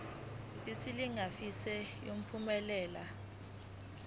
isilinganiso esingu uphumelele